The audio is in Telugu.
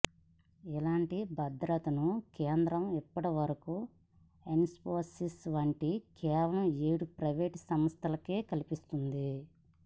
ఇలాంటి భద్రతను కేంద్రం ఇప్పటి వరకు ఇన్ఫోసిస్ వంటి కేవలం ఏడు ప్రైవేటు సంస్థలకే కల్పిస్తోంది